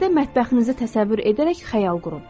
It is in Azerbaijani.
Yenə də mətbəxinizə təsəvvür edərək xəyal qurun.